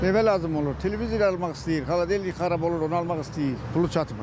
Evə lazım olur, televizor almaq istəyir, xaladelnik xarab olur, onu almaq istəyir, pulu çatmır.